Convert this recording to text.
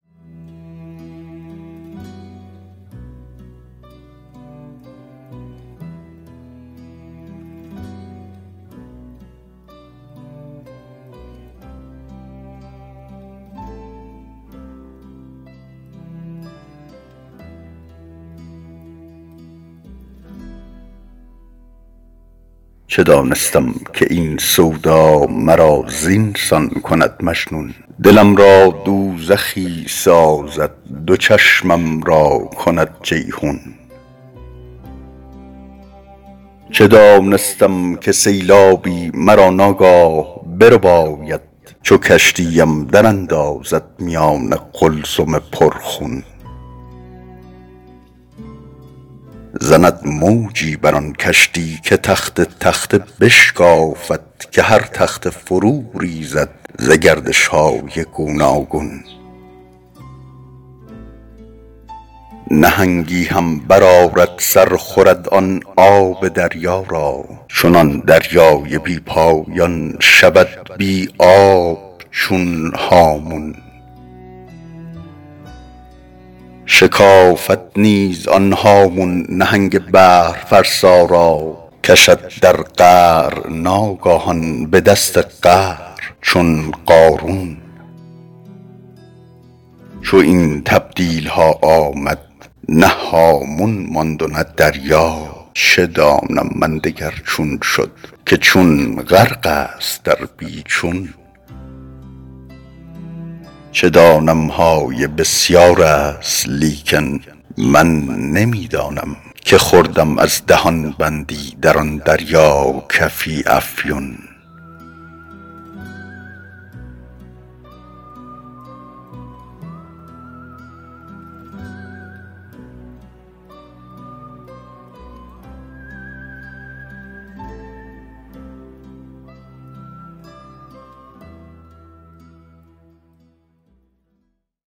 چه دانستم که این سودا مرا زین سان کند مجنون دلم را دوزخی سازد دو چشمم را کند جیحون چه دانستم که سیلابی مرا ناگاه برباید چو کشتی ام دراندازد میان قلزم پرخون زند موجی بر آن کشتی که تخته تخته بشکافد که هر تخته فروریزد ز گردش های گوناگون نهنگی هم برآرد سر خورد آن آب دریا را چنان دریای بی پایان شود بی آب چون هامون شکافد نیز آن هامون نهنگ بحرفرسا را کشد در قعر ناگاهان به دست قهر چون قارون چو این تبدیل ها آمد نه هامون ماند و نه دریا چه دانم من دگر چون شد که چون غرق است در بی چون چه دانم های بسیار است لیکن من نمی دانم که خوردم از دهان بندی در آن دریا کفی افیون